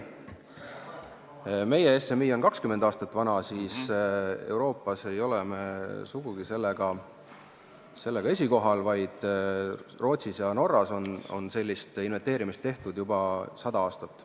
Meie oma 20 aasta vanuse SMI-ga ei ole Euroopas sugugi esikohal, Rootsis ja Norras on sellist inventeerimist tehtud juba sada aastat.